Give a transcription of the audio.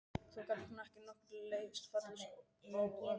Þó gat hún að nokkru leyti fallist á að frú